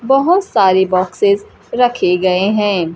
बहोत सारी बॉक्सेस रखे गए हैं।